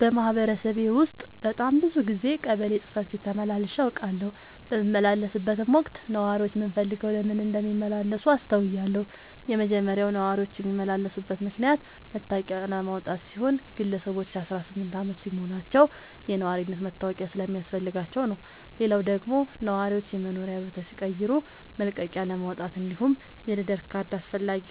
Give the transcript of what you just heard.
በማህበረሰቤ ውስጥ በጣም ብዙ ጊዜ ቀበሌ ጽህፈት ቤት ተመላልሼ አውቃለሁ። በምመላለስበትም ወቅት ነዋሪዎች ምን ፈልገው ለምን እንደሚመላለሱ አስተውያለሁ የመጀመሪያው ነዋሪዎች የሚመላለሱበት ምክንያት መታወቂያ ለማውጣት ሲሆን ግለሰቦች አስራስምንት አመት ሲሞላቸው የነዋሪነት መታወቂያ ስለሚያስፈልጋቸው ነው። ሌላው ደግሞ ነዋሪዎች የመኖሪያ ቦታ ሲቀይሩ መልቀቂያለማውጣት እንዲሁም የልደት ካርድ አስፈላጊ